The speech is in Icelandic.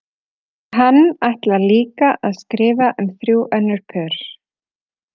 Hann ætlar líka að skrifa um þrjú önnur pör.